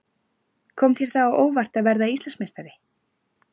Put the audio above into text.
Kom þér það á óvart að verða Íslandsmeistari?